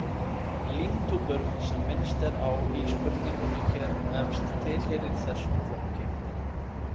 Límtúpur sem minnst er á í spurningunni hér efst tiheyra þessum flokki.